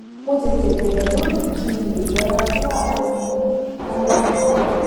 mo tètè bèrè lónìí kí n lè yẹra fún wàhálà tí mo ní lálé àná